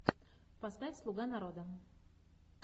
поставь слуга народа